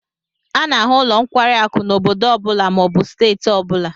A n'ahu nlo nkwari akụ n'obodo obula ma obu steeti obula